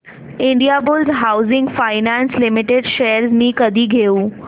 Indiabulls Housing Finance Limited shares मी कधी घेऊ